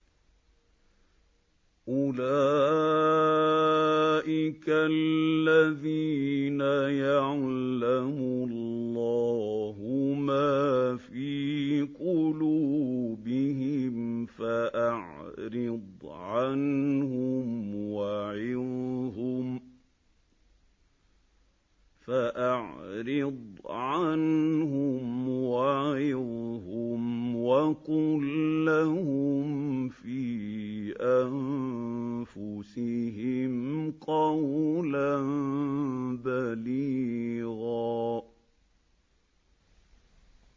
أُولَٰئِكَ الَّذِينَ يَعْلَمُ اللَّهُ مَا فِي قُلُوبِهِمْ فَأَعْرِضْ عَنْهُمْ وَعِظْهُمْ وَقُل لَّهُمْ فِي أَنفُسِهِمْ قَوْلًا بَلِيغًا